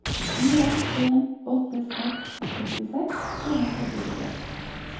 fire en åtte seks sekstiseks to hundre og syttitre